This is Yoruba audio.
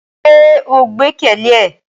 Ṣe o gbẹkẹle e?